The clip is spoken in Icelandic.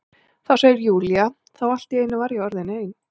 Þá, segir Júlía, þá allt í einu var ég orðin ein.